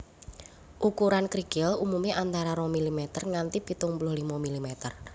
Ukuran krikil umumé antara rong milimeter nganti pitung puluh limo milimeter